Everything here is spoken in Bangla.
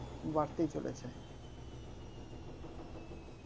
বাড়তেই চলেছে